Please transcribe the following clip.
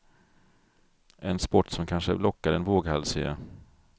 En sport som kanske lockar den våghalsige.